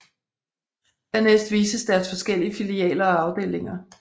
Dernæst vises deres forskellige filialer og afdelinger